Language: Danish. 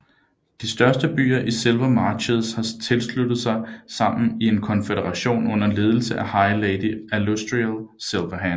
De største byer i Silver Marches har sluttet sig sammen i en konfederation under ledelse af High Lady Alustriel Silverhand